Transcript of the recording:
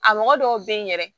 A mɔgɔ dɔw bɛ yen yɛrɛ